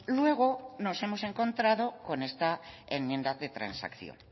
luego nos hemos encontrado con esta enmienda de transacción